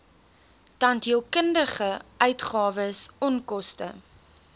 tandheelkundige uitgawes onkoste